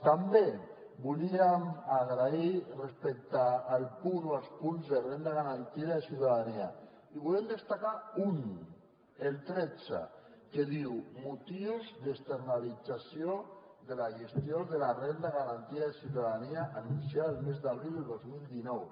també volíem agrair respecte al punt o els punts de renda garantida de ciutadania i volem destacar un el tretze que diu motius d’externalització de la gestió de la renda garantida de ciutadania anunciada el mes d’abril del dos mil dinou